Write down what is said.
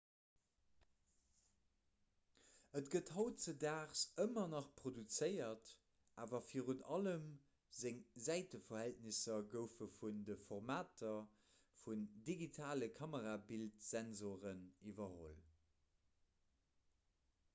et gëtt hautdesdaags ëmmer nach produzéiert awer virun allem seng säiteverhältnesser goufe vun de formater vun digitale kamerabildsensore iwwerholl